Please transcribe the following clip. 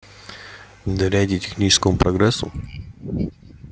доверяете техническому прогрессу